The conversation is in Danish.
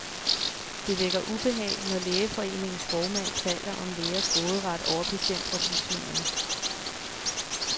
Det vækker ubehag, når lægeforeningens formand taler om lægers råderet over patientoplysningerne.